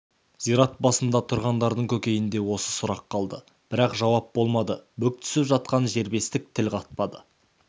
зират басында тұрғандардың көкейінде осы сұрақ қалды бірақ жауап болмады бүк түсіп жатқан жербесік тіл қатпады